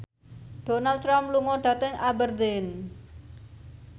Donald Trump lunga dhateng Aberdeen